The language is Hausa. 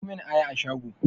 Siyo mun aya a shago!